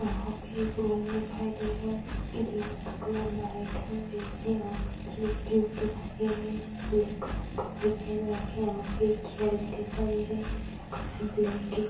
वहाँ पर एक रूम दिखाई दे रहा है जिसकाी दीवार का कलर व्हाइट और रेड है वहाँ पर एक बच्ची बैठी दिखाई दे रही है जिसने ब्लैक कलर के कपड़ा पहन रखी है वहाँ पर एक चैर भी दिखाई दे रहे है जिसका कलर ब्लैक है।